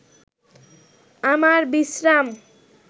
আমার বিশ্রাম